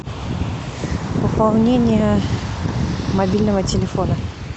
пополнение мобильного телефона